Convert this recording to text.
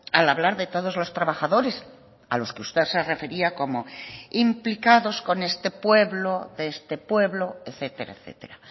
al hablar de todos los trabajadores a los que usted se refería como implicados con este pueblo de este pueblo etcétera etcétera